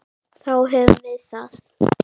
Þá höfum við það.